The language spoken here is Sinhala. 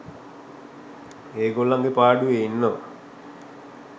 ඒගොල්ලන්ගේ පාඩුවේ ඉන්නවා.